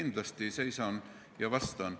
Kindlasti ma seisan ja vastan.